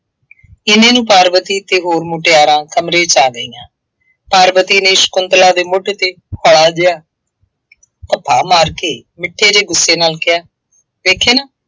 ਐਨੇ ਨੂੰ ਪਾਰਵਤੀ ਅਤੇ ਹੋਰ ਮੁਟਿਆਰਾਂ ਕਮਰੇ ਚ ਆ ਗਈਆਂ। ਪਾਰਵਤੀ ਨੇ ਸ਼ੰਕੁਤਲਾ ਦੇ ਮੋਢੇ ਤੇ ਹੋ਼ਲਾ ਜਿਹਾ ਧੱਫਾ ਮਾਰ ਕੇ ਮਿੱਠੇ ਜਿਹੇ ਗੁੱਸੇ ਨਾਲ ਕਿਹਾ, ਵੇਖਿਆ ਨਾ,